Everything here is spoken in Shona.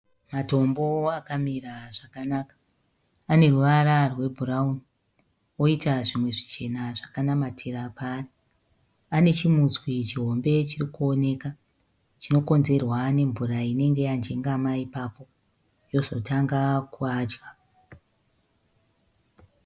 Motombo akamira zvakanaka. Aneruvara rwebhurauni oita zvimwe zvichena zvakanamatira paari. Pane chimutswi chihombe chirikuoneka chinokonzerwa nemvura inenge yanjengama ipapo, yozotanga kuadya.